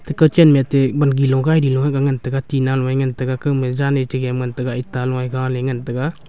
kochan mete gilo lagae lo ngan taga tina loi ngan taga kaoma jan me tiga ngan taga eta e ngan taga.